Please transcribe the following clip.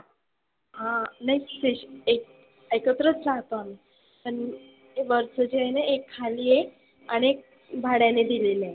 हं नाही से एक एकत्रच राहतो आम्ही. पण हे वरच जे आहेना एक खाली आहे आणि एक भाड्याने दिलेलं आहे.